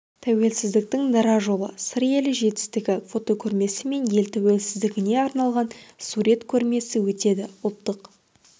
тәуелсіздіктің дара жолы сыр елі жетістігі фотокөрмесі мен ел тәуелсіздігіне арналған сурет көрмесі өтеді ұлттық